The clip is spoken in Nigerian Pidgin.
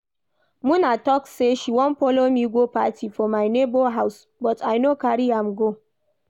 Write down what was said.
Muna talk say she wan follow me go party for my neighbour house but I no carry am go